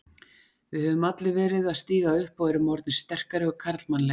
Við höfum allir verið að stíga upp og erum orðnir sterkari og karlmannlegri.